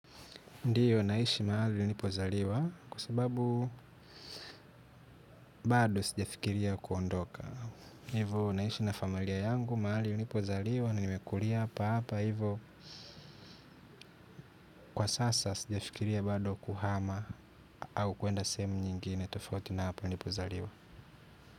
Ndiyo naishi mahali nilipozaliwa kwa sababu bado sijafikiria kuondoka. Hivo naishi na familia yangu mahali nilipozaliwa nimekulia papa hiyvo kwa sasa sijafikiria bado kuhama au kuenda sehemu nyingine tofauti na hapa nilipozaliwa.